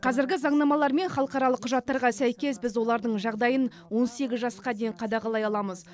қазіргі заңнамалар мен халықаралық құжаттарға сәйкес біз олардың жағдайын он сегіз жасқа дейін қадағалай аламыз